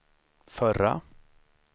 förra